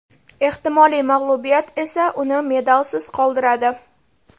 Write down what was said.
Ehtimoliy mag‘lubiyat esa uni medalsiz qoldiradi.